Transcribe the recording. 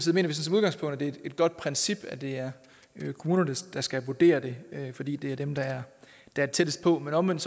vi som udgangspunkt at det er et godt princip at det er kommunerne der skal vurdere det fordi det er dem der er tættest på men omvendt